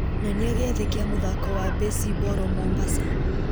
nyonia gĩathĩ kĩa mũthako wa mbĩcimboro mombasa